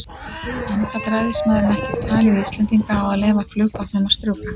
En gat ræðismaðurinn ekki talið Íslendinga á að leyfa flugbátnum að strjúka?